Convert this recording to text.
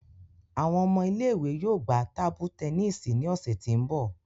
Awọn ọmọ ile-iwe yoo gba tabu tẹnisi ni ọsẹ ti n bọ.